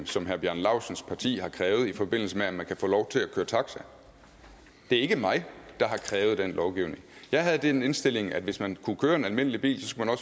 som herre bjarne laustsens parti har krævet i forbindelse med at man kan få lov til at køre taxa det er ikke mig der har krævet den lovgivning jeg havde den indstilling at hvis man kunne køre en almindelig bil skulle man